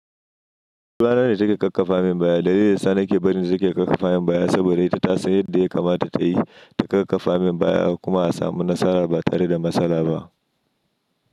Labaran da suke ƙaƙƙafa min baya, daidai da Sani ke barin su suke ƙaƙƙafa min baya saboda ita ta san yadda ya kamata ta yi ta ƙarfafa min baya kuma a samu nasara ba tare da matsala ba.